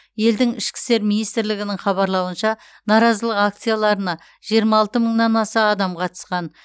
елдің ішкі істер министрлігінің хабарлауынша наразылық акцияларына жиырма алты мыңнан аса адам қатысқан